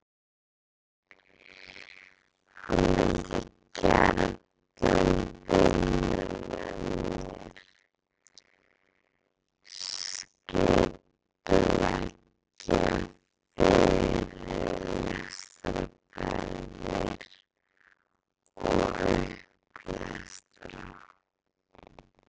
Hann vildi gjarnan vinna með mér, skipuleggja fyrirlestraferðir og upplestra.